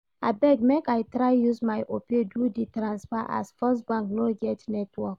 Abeg make I try use my Opay do the transfer as Firstbank no get network